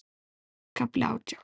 KAFLI ÁTJÁN